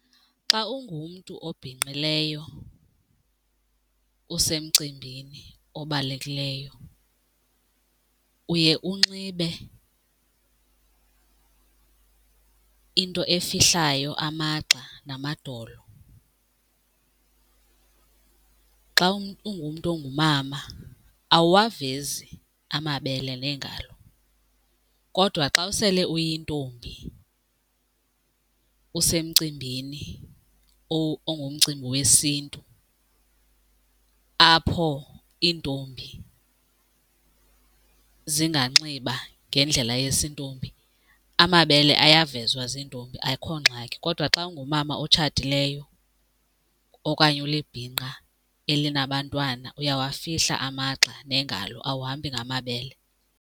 Xa ungumntu obhinqileyo usemcimbini obalulekileyo uye unxibe into efihlayo amagxa namadolo. Xa ungumntu ongumama awuwavezi amabele neengalo kodwa xa usele uyintombi kuba usemcimbini or kungumcimbi wesiNtu apho iintombi zinganxiba ngendlela yesintombi amabele ayavezwa ziintombi akukho ngxaki. Kodwa xa ungumama otshatileyo okanye ulibhinqa elinabantwana uyawufihla amagxa neengalo awuhambi ngamabele.